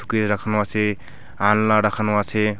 রাখানো আছে আলনা রাখানো আছে।